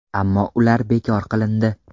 Ammo ular bekor qilindi.